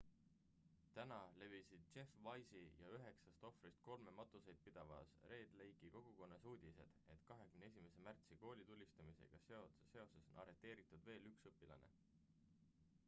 täna levisid jeff weise'i ja üheksast ohvrist kolme matuseid pidavas red lake'i kogukonnas uudised et 21 märtsi koolitulistamisega seoses on arreteeritud veel üks õpilane